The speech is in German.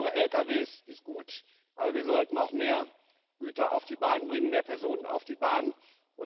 Saubere Lkw ist gut, aber wir sollten auch mehr Güter auf die Bahn bringen, mehr Personen auf die Bahn bringen.